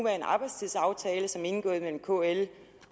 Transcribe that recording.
arbejdstidsaftale som er indgået mellem kl